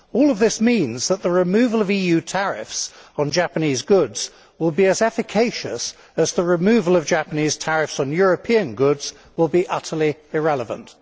All of this means that the removal of EU tariffs on Japanese goods will be as efficacious as the removal of Japanese tariffs on European goods will be irrelevant.